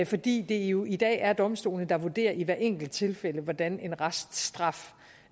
fordi det jo i dag er domstolene der vurderer i hvert enkelt tilfælde hvordan en reststraf